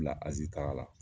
bila Azi taga la.